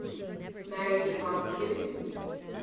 married yvonne blue